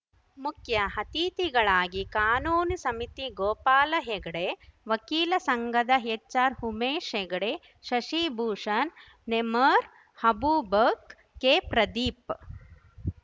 ಮುಖ್ಯ ಅತಿಥಿಗಳಾಗಿ ಕಾನೂನು ಸಮಿತಿ ಗೋಪಾಲ ಹೆಗಡೆ ವಕೀಲರ ಸಂಘದ ಹೆಚ್‌ಆರ್‌ ಉಮೇಶ್‌ ಹೆಗಡೆ ಶಶಿಭೂಷಣ್‌ ನೆಮ್ಮಾರ್ ಅಬೂಬಕ್ ಕೆ ಪ್ರದೀಪ್‌